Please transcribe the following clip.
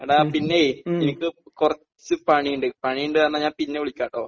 എടാ, പിന്നെ എനിക്ക് കുറച്ച് പണിയുണ്ട്. പണിയുണ്ടെന്ന് പറഞ്ഞ ഞാൻ പിന്നെ വിളിക്കാമെട്ടോ.